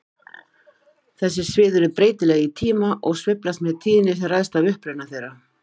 Þessi svið eru breytileg í tíma og sveiflast með tíðni sem ræðst af uppruna þeirra.